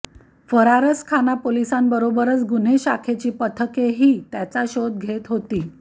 फरारसखाना पोलिसांबरोबरच गुन्हे शाखेची पथकेही त्याचा शोध घेत होती